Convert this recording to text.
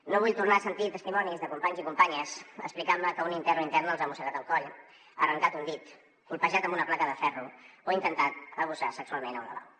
no vull tornar a sentir testimonis de companys i companyes explicant me que un intern o interna els ha mossegat el coll els ha arrencat un dit colpejat amb una placa de ferro o ha intentat abusar ne sexualment en un lavabo